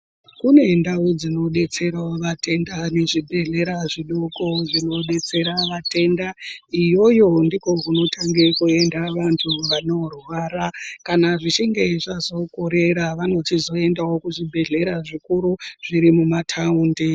Kune ndau dzinodetserawo vatenda nezvibhlera zvidoko zvinobetsera vatenda iyoyo ndiko kunotange kuenda vantu vanorwara kana zvichinge zvazokorera vanochizoendawo kuzvibhehlera zvikuru zviri mumataundi.